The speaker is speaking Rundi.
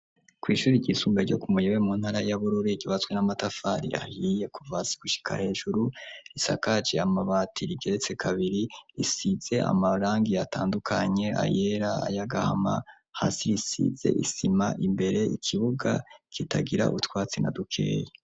Kw' ishuri ryisumbuye ryo ku Muyebe mu ntara ya Bururi ryubatswe n'amatafari ahiye kuvasi gushika hejuru; risakaje amabati rigeretse kabiri, risize amarangi atandukanye, ayera y'agahama; hasi risize isima imbere. Ikibuga kitagira utwatsi na dukeyi.